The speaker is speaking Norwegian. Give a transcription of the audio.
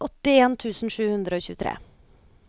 åttien tusen sju hundre og tjuetre